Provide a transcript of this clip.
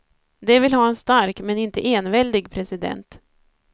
De vill ha en stark, men inte enväldig president.